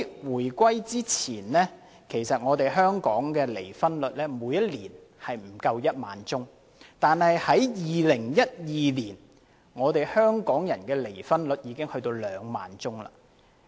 回歸之前，香港每年的離婚宗數不足1萬宗，但2012年，香港人的離婚宗數已經達2萬宗。